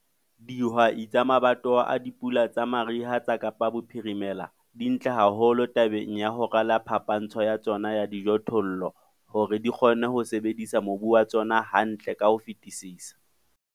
Dihwai tsa mabatowa a dipula tsa mariha tsa Kaapa Bophirimela di ntle haholo tabeng ya ho rala phapantsho ya tsona ya dijothollo hore di kgone ho sebedisa mobu wa tsona hantle ka ho fetisisa.